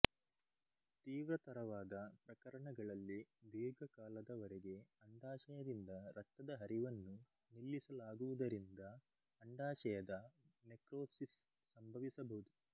ತೀವ್ರತರವಾದ ಪ್ರಕರಣಗಳಲ್ಲಿ ದೀರ್ಘಕಾಲದವರೆಗೆ ಅಂಡಾಶಯದಿಂದ ರಕ್ತದ ಹರಿವನ್ನು ನಿಲ್ಲಿಸಲಾಗುವುದರಿಂದ ಅಂಡಾಶಯದ ನೆಕ್ರೋಸಿಸ್ ಸಂಭವಿಸಬಹುದು